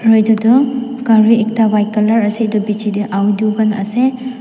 aru etu tu gari ekta white colour ase etu piche te aru dukan ase.